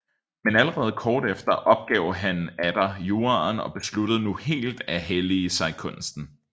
Men allerede kort tid efter opgav han atter juraen og besluttede nu helt at hellige sig kunsten